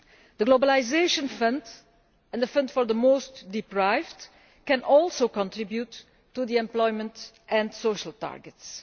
The globalisation fund and the fund for the most deprived can also contribute to the employment and social targets.